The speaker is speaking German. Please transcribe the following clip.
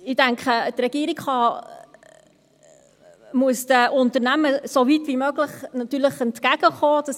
Ich denke, die Regierung muss den Unternehmen natürlich so weit wie möglich entgegenkommen;